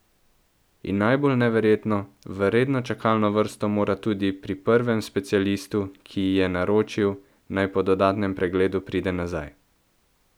In najbolj neverjetno, v redno čakalno vrsto mora tudi pri prvem specialistu, ki ji je naročil, naj po dodatnem pregledu pride nazaj.